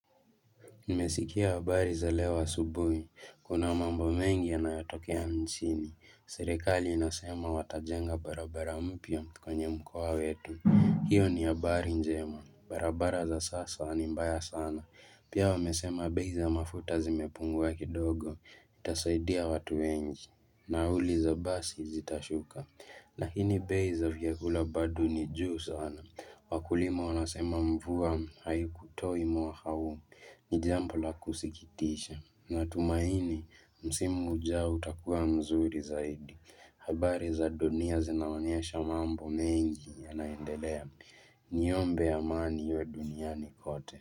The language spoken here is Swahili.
Nimesikia habari za leo subuhi, kuna mambo mengi yanayatokea nchini, serekali inasema watajenga barabara mpya kwenye mkoa wetu. Hiyo ni habari njema, barabara za sasa ni mbaya sana, pia wamesema bei za mafuta zimepungua kidogo, itasoidia watu wengi, nauli za basi zitashuka na lakini bei za vyakula bado ni juu sana. Wakulima wanasema mvua hayukutoi mwaka huu. Nijambo la kusikitisha. Natumaini msimu ujao utakuwa mzuri zaidi. Habari za dunia zinaonyesha mambo mengi yanaendelea. Niombe amani ya dunia ni kote.